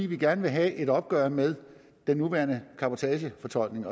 vil gerne have et opgør med den nuværende fortolkning